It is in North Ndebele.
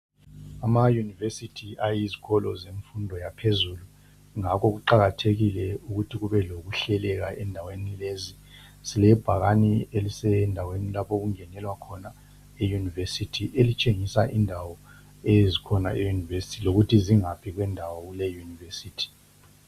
ama university ayizikolo zemfundo yaphezulu ngakhokuqhakathekile ukuba kube lokuhleleka endaweni lezi silebhakane elisendaweni lapho okungenelwa khona e university elitshengisa imdawo ezikhona e university lokuthi zingaphi kwendawo kule university